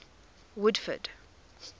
woodford